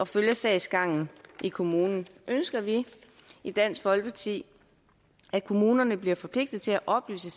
følge sagsgangen i kommunen ønsker vi i dansk folkeparti at kommunerne bliver forpligtet til at oplyse